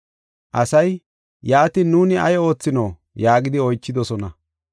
Asay, “Yaatin nuuni ay oothinoo?” yaagidi oychidosona.